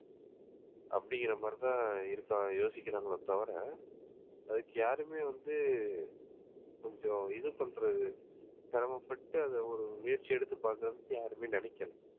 அப்படிங்கிற மாதிரிதான் இருக்காங்க யோசிக்கிறாங்களே தவிர அதுக்கு யாருமே வந்து கொஞ்சம் இது பண்றது சிரமப்பட்டு அதை ஒரு முயற்சி எடுத்து பண்றதுக்கு யாருமே நினைக்கலை